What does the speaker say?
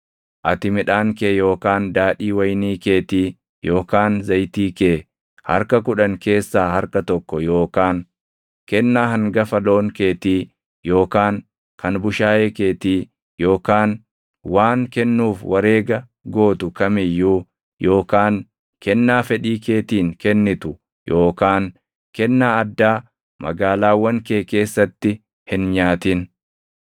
Ati midhaan kee yookaan daadhii wayinii keetii yookaan zayitii kee harka kudhan keessaa harka tokko yookaan kennaa hangafa loon keetii yookaan kan bushaayee keetii yookaan waan kennuuf wareega gootu kam iyyuu yookaan kennaa fedhii keetiin kennitu yookaan kennaa addaa magaalaawwan kee keessatti hin nyaatin.